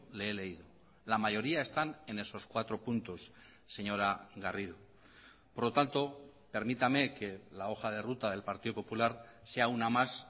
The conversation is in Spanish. le he leído la mayoría están en esos cuatro puntos señora garrido por lo tanto permítame que la hoja de ruta del partido popular sea una más